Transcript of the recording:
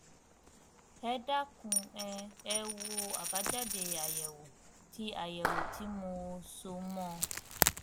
ẹ dákun um ẹ wo àbájáde àyẹwò tí àyẹwò tí mo so mọ ọn